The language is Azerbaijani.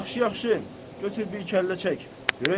Yaxşı-yaxşı, götür bir kəllə çək.